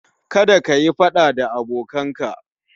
Kada kayi faɗa da abokinka